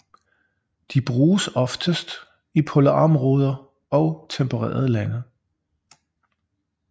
De bruges oftest i polarområder og tempererede lande